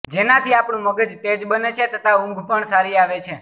જેનાથી આપણું મગજ તેજ બને છે તથા ઊંઘ પણ સારી આવે છે